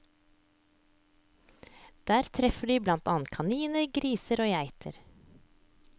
Der treffer de blant annet kaniner, griser og geiter.